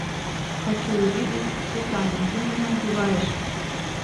хочу увидеть сусана ты меня убиваешь